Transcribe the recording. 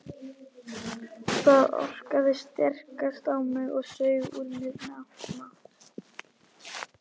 Það orkaði sterkast á mig og saug úr mér mátt.